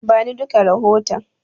Bani duka rahoton.